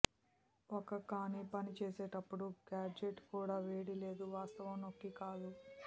ఒక కానీ పనిచేసేటప్పుడు గాడ్జెట్ కూడా వేడి లేదు వాస్తవం నొక్కి కాదు